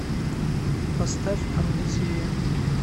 поставь амнезия